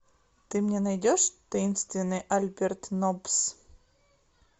ты мне найдешь таинственный альберт ноббс